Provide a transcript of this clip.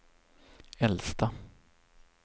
äldsta